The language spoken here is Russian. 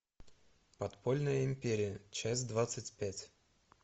подпольная империя часть двадцать пять